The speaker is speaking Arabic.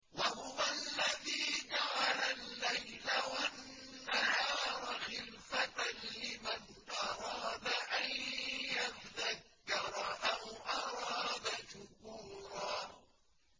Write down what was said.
وَهُوَ الَّذِي جَعَلَ اللَّيْلَ وَالنَّهَارَ خِلْفَةً لِّمَنْ أَرَادَ أَن يَذَّكَّرَ أَوْ أَرَادَ شُكُورًا